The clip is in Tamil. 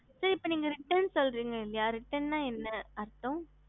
ஹம்